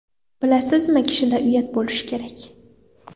Bilasizmi, kishida uyat bo‘lishi kerak.